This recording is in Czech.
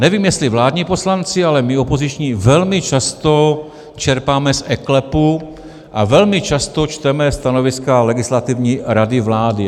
Nevím, jestli vládní poslanci, ale my opoziční velmi často čerpáme z eKLEPu a velmi často čteme stanoviska Legislativní rady vlády.